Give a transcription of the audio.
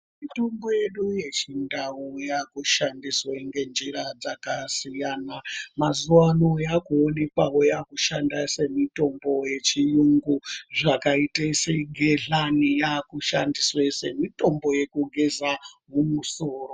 Mitombo yedu yechindau yakushandiswe ngenjira dzakasiyana. Mazuwano yakuonekwawo yakushanda semitombo yechiyungu zvakaite segehlani yakushandiswe semitombo yekugeza mumusoro.